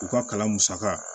U ka kalan musaka